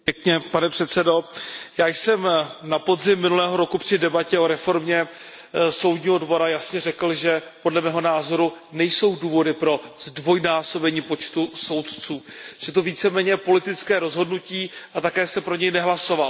Pane předsedající, já jsem na podzim minulého roku při debatě o reformě Soudního dvora jasně řekl, že podle mého názoru nejsou důvody ke zdvojnásobení počtu soudců, že je to více méně politické rozhodnutí a také jsem pro něj nehlasoval.